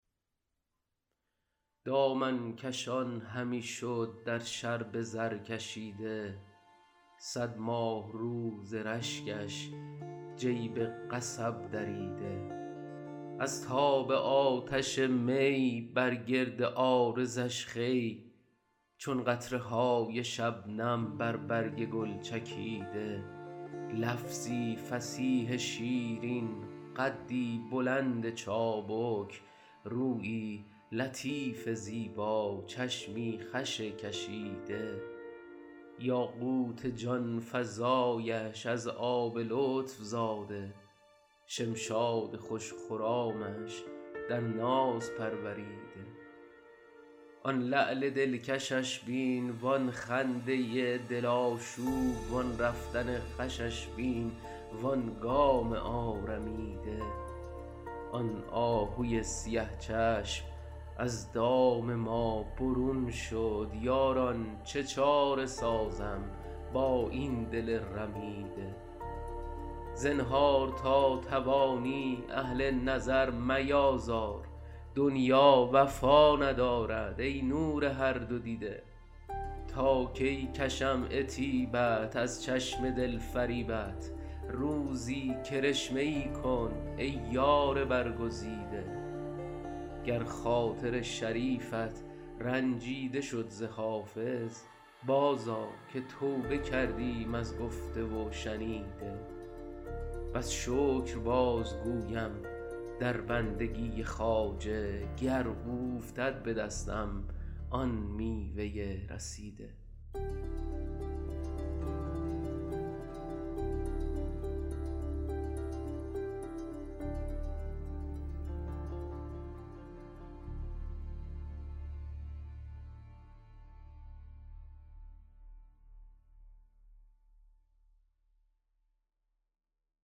دامن کشان همی شد در شرب زرکشیده صد ماهرو ز رشکش جیب قصب دریده از تاب آتش می بر گرد عارضش خوی چون قطره های شبنم بر برگ گل چکیده لفظی فصیح شیرین قدی بلند چابک رویی لطیف زیبا چشمی خوش کشیده یاقوت جان فزایش از آب لطف زاده شمشاد خوش خرامش در ناز پروریده آن لعل دلکشش بین وآن خنده دل آشوب وآن رفتن خوشش بین وآن گام آرمیده آن آهوی سیه چشم از دام ما برون شد یاران چه چاره سازم با این دل رمیده زنهار تا توانی اهل نظر میآزار دنیا وفا ندارد ای نور هر دو دیده تا کی کشم عتیبت از چشم دل فریبت روزی کرشمه ای کن ای یار برگزیده گر خاطر شریفت رنجیده شد ز حافظ بازآ که توبه کردیم از گفته و شنیده بس شکر بازگویم در بندگی خواجه گر اوفتد به دستم آن میوه رسیده